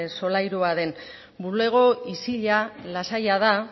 solairua den bulego isila lasaia da